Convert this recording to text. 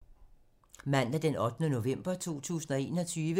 Mandag d. 8. november 2021